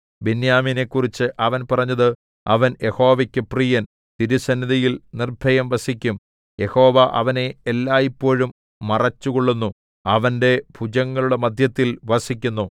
ബെന്യാമീനെക്കുറിച്ച് അവൻ പറഞ്ഞത് അവൻ യഹോവയ്ക്ക് പ്രിയൻ തിരുസന്നിധിയിൽ നിർഭയം വസിക്കും യഹോവ അവനെ എല്ലായ്പോഴും മറച്ചുകൊള്ളുന്നു അവന്റെ ഭുജങ്ങളുടെ മദ്ധ്യത്തിൽ വസിക്കുന്നു